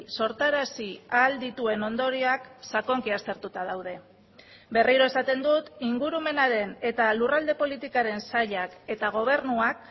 sortarazi ahal dituen ondorioak sakonki aztertuta daude berriro esaten dut ingurumenaren eta lurralde politikaren sailak eta gobernuak